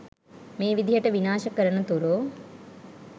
මේ විදිහට විනාශ කරනතුරු